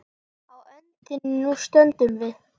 Á öndinni nú stöndum við.